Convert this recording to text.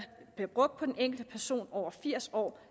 bliver brugt på den enkelte person over firs år